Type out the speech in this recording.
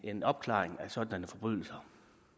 en opklaring af sådanne forbrydelser